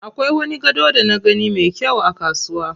Akwai wani gado da na gani me kyau a kasuwa.